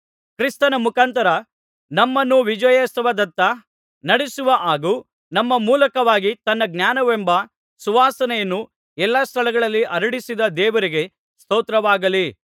ಕ್ರಿಸ್ತನ ಮುಖಾಂತರ ನಮ್ಮನ್ನು ವಿಜಯೋತ್ಸವದತ್ತ ನಡೆಸುವ ಹಾಗೂ ನಮ್ಮ ಮೂಲಕವಾಗಿ ತನ್ನ ಜ್ಞಾನವೆಂಬ ಸುವಾಸನೆಯನ್ನು ಎಲ್ಲಾ ಸ್ಥಳಗಳಲ್ಲಿ ಹರಡಿಸಿದ ದೇವರಿಗೆ ಸ್ತೋತ್ರವಾಗಲಿ